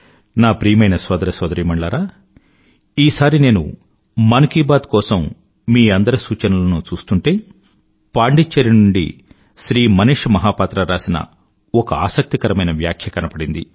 నా ప్రియమైన సోదర సోదరీమణులారా ఈసారి నేను మన్ కీ బాత్ కోసం మీ అందరి సూచనలనూ చూస్తూంటే పాండిచ్చెరీ నుండి శ్రీ మనీష మహాపాత్ర రాసిన ఒక ఆసక్తికరమైన వ్యాఖ్య కనపడింది